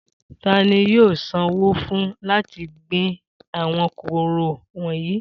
Ta ni yóò sanwó fún láti gbin àwọn kóró wọ̀nyí?